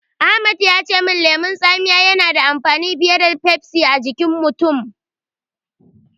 Ahmad ya ce lemon tsamiya yana da amfani fiye da Pepsi a jikin mutum.